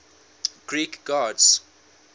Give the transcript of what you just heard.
greek gods